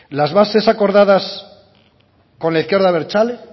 las bases acordadas con la izquierda abertzale